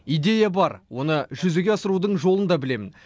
идея бар оны жүзеге асырудың жолын да білемін